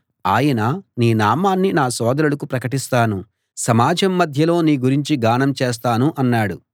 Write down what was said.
ఆయన నీ నామాన్ని నా సోదరులకు ప్రకటిస్తాను సమాజం మధ్యలో నీ గురించి గానం చేస్తాను అన్నాడు